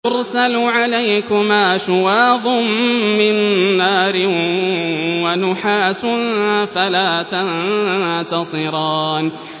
يُرْسَلُ عَلَيْكُمَا شُوَاظٌ مِّن نَّارٍ وَنُحَاسٌ فَلَا تَنتَصِرَانِ